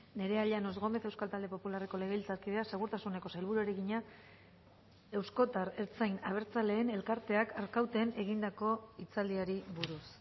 nerea llanos gómez euskal talde popularreko legebiltzarkideak segurtasuneko sailburuari egina euskotar ertzain abertzaleen elkarteak arkauten egindako hitzaldiari buruz